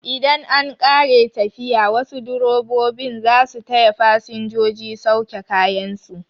Idan an ƙare tafiya, wasu direbobin zasu taya fasinjoji sauke kayan su